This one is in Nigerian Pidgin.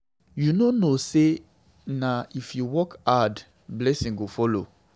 You no know say na if you work hard, blessing go follow.